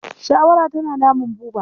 Shawara tana damun Buba.